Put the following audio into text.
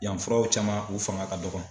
Yan furaw caman u fanga ka dɔgɔn.